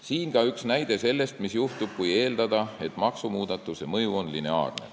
Siin ka üks näide selle kohta, mis juhtub, kui eeldada, et maksumuudatuse mõju on lineaarne.